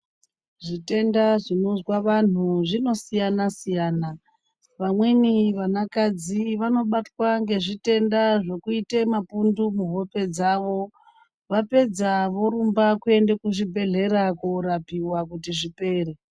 Zvitenda zvinozwa anhu zvinosiyana siyana vamweni vana kadzi vanobatwa nezvitenda zvokuita mapundu muhope dzawo vapedza vorumba kuenda kuzvibhedhlera korapiwa kuti zvipere.